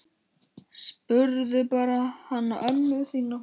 Spurðu bara hana ömmu þína!